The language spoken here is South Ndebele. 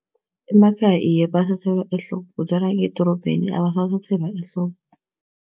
Emakhaya iye bathathelwa ehloko kodwana ngedorobheni abasathathelwa ehloko.